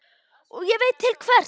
Og ég veit vel til hvers.